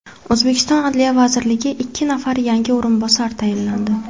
O‘zbekiston adliya vaziriga ikki nafar yangi o‘rinbosar tayinlandi.